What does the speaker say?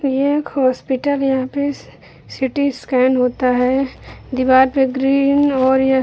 एक हॉस्पिटल यहां पे सी.टी स्कैन होता है। दीवार पर ग्रीन और ये --